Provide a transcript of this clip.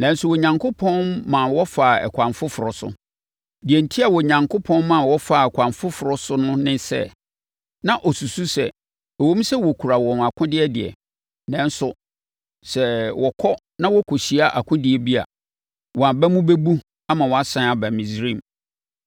nanso Onyankopɔn ma wɔfaa ɛkwan foforɔ so. Deɛ enti a Onyankopɔn ma wɔfaa ɛkwan foforɔ so no ne sɛ, na ɔsusu sɛ, ɛwom sɛ wɔkura wɔn akodeɛ deɛ, nanso sɛ wɔkɔ na wɔkɔhyia akodie bi a, wɔn aba mu bɛbu ama wɔasane aba Misraim.